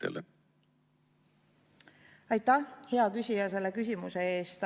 Aitäh, hea küsija, selle küsimuse eest!